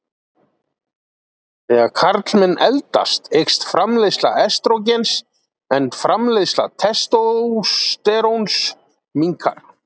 Þegar karlmenn eldast eykst framleiðsla estrógens en framleiðsla testósteróns minnkar.